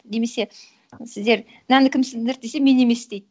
немесе сіздер мынаны кім сындырды десе мен емес дейді